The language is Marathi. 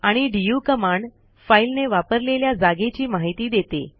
आणि डीयू कमांड फाईल ने वापरलेल्या जागेची माहिती देते